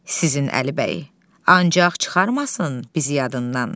Sizin Əlibəy, ancaq çıxarmasın bizi yadından.